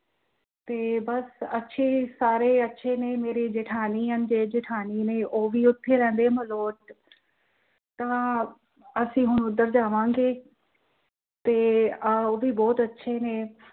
ਤੇ ਬੱਸ ਅੱਛੇ ਸਾਰੇ ਅੱਛੇ ਨੇ ਮੇਰੇ ਜੇਠ ਤੇ ਜਠਾਣੀ ਨੇ ਉਹ ਵੀ ਉੱਥੇ ਰਹਿੰਦੇ ਨੇ ਮਲੋਟ, , ਤਾਂ ਅਸੀਂ ਹੁਣ ਉੱਧਰ ਜਾਵਾਂਗੇ। ਅਹ ਤੇ ਉਹ ਵੀ ਬਹੁਤ ਅੱਛੇ ਨੇ